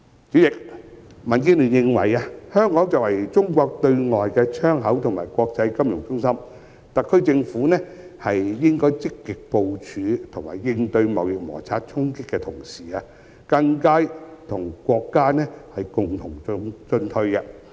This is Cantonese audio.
主席，民建聯認為，香港作為中國對外的窗口和國際金融中心，特區政府在積極部署和應對貿易摩擦衝擊的同時，更應與國家共同進退。